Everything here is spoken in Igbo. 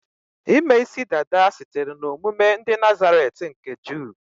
Ime isi dada sitere na omume ndị Nazaret nke ndị Juu